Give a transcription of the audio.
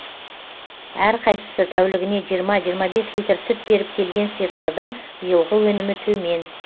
әр қайсысы тәулігіне жиырма жиырма бес литр сүт беріп келген сиырлардың биылғы өнімі төмен